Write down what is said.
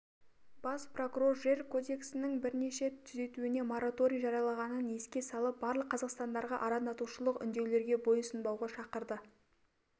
бас прокурор жер көдексінің бірнеше түзетуіне мараторий жарияланғанын еске салып барлық қазақстандықтарға арандатушылық үндеулерге бойсұнбауынға шақырды